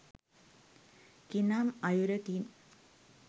කිනම් අයුරකින්